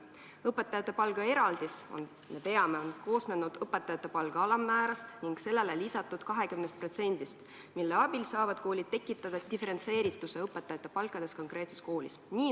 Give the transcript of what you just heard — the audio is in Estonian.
Õpetajate palgaeraldis on, me teame, koosnenud palga alammäärast, millele on lisatud 20%, mille abil saavad koolid tekitada diferentseerituse õpetajate palkades konkreetses koolis.